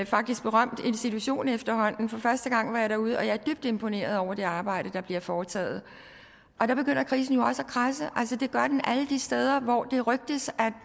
faktisk berømt institution efterhånden for første gang var jeg derude og jeg er dybt imponeret over det arbejde der bliver foretaget og der begynder krisen jo også at kradse altså det gør den alle de steder hvor det rygtes